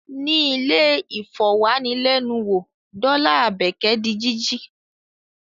Ní ilẹ̀-ìfọ̀wánilẹ́nuwò dọ́là Àbẹ́kẹ́ di jíjí.